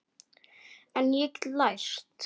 En ég get lært.